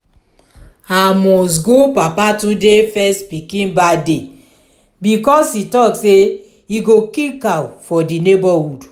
i must go baba tunde first pikin birthday because he talk say he go kill cow for the neighborhood